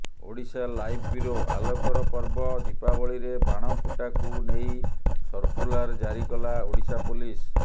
Odisha live bureau ଆଲୋକର ପର୍ବ ଦୀପାବଳିରେ ବାଣ ଫୁଟାକୁ ନେଇ ସର୍କୁଲାର ଜାରି କଲା ଓଡ଼ିଶା ପୋଲିସ